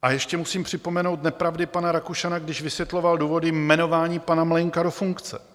A ještě musím připomenout nepravdy pana Rakušana, když vysvětloval důvody jmenování pana Mlejnka do funkce.